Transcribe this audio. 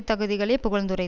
தகுதிகளை புகழ்ந்துரைத்தார்